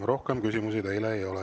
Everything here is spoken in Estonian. Rohkem küsimusi teile ei ole.